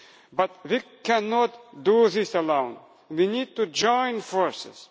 But we cannot do this alone we need to join forces.